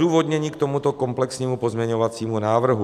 Odůvodnění k tomuto komplexnímu pozměňovacímu návrhu.